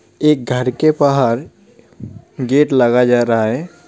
एक घर के बाहर गेट लग जा रहा है.